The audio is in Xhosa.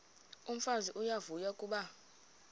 umfazi uyavuya kuba